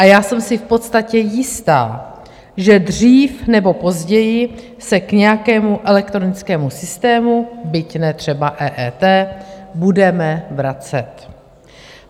A já jsem si v podstatě jistá, že dřív nebo později se k nějakému elektronickému systému, byť ne třeba EET, budeme vracet.